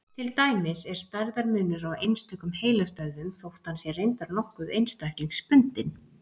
Til dæmis er stærðarmunur á einstökum heilastöðvum, þótt hann sé reyndar nokkuð einstaklingsbundinn.